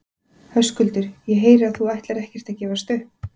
Höskuldur: Ég heyri að þú ætlar ekkert að gefast upp?